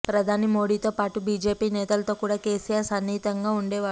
ప్రధాని మోడీతో పాటు బీజేపీ నేతలతో కూడ కేసీఆర్ సన్నిహితంగా ఉండేవాడు